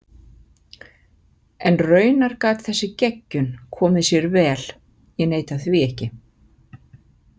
En raunar gat þessi geggjun komið sér vel, ég neita því ekki.